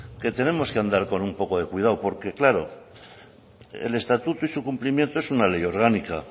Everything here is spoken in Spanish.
que tenemos que andar con un poco de cuidado porque claro el estatuto y su cumplimiento es una ley orgánica